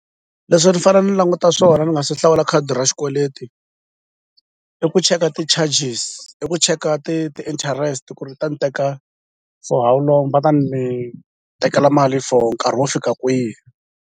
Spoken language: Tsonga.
Leswi ni fanele ni languta swona ni nga se hlawula khadi ra xikweleti i ku cheka ti-charges i ku cheka ti ti-interest ku ri ta ni teka for how long va ta ni tekela mali for nkarhi wo fika kwihi.